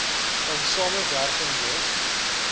in samewerking met